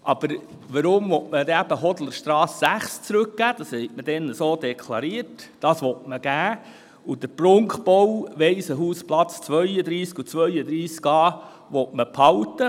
Aber weshalb will man dann die Hodlerstrasse 6 zurückgeben und den Prunkbau Waisenhausplatz 32 und 32a behalten?